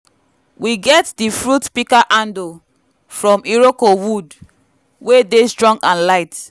we get di fruit pika handle from iroko wood wey dey strong and light